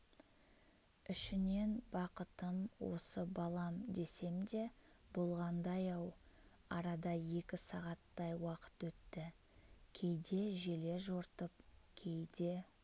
ішінен бақытым осы балам десем де болғандай-ау арада екі сағаттай уақыт өтті кейде желе жортып кейде